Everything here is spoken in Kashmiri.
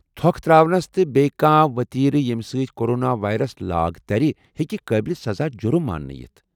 تھوٚکہٕ تر٘اونس یا بییٚہِ کانٛہہ وتیرٕ ییمہِ سۭتۍ کورونا وایرس لاگ ترِ ہیٚکہِ قٲبلِ سزا جُرم ماننہٕ یِتھ ۔